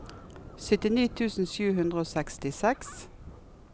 syttini tusen sju hundre og sekstiseks